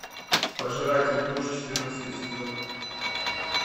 пожиратель душ четырнадцатый сезон